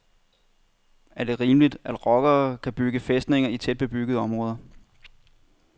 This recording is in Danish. Er det rimeligt, at rockere kan bygge fæstninger i tæt bebyggede områder.